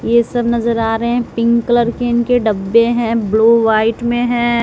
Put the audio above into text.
ये सब नजर आ रहे हैं। पिंक कलर के उनके डब्बे हैं ब्लू वाइट में है।